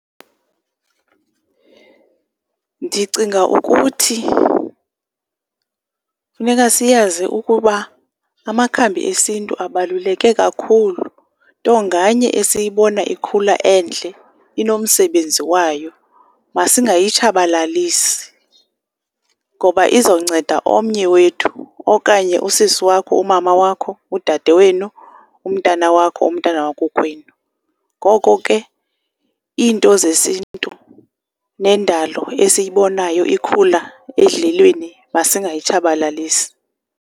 Ndicinga ukuthi funeka siyazi ukuba amakhambi esintu abaluleke kakhulu, nto nganye esiyibona ikhula endle inomsebenzi wayo. Masingayitshabalalisi ngoba izowunceda omnye wethu okanye usisi wakho, umama wakho, udade wenu, umntana wakho, umntana wakokwenu. Ngoko ke iinto zesintu nendalo esiyibonayo ikhula edlelweni masingayitshabalalisi.